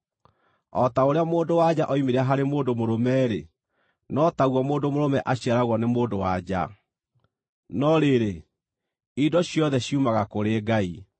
O ta ũrĩa mũndũ-wa-nja oimire harĩ mũndũ mũrũme-rĩ, no taguo mũndũ-mũrũme aciaragwo nĩ mũndũ-wa-nja. No rĩrĩ, indo ciothe ciumaga kũrĩ Ngai.